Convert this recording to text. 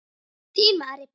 Þín María Björk.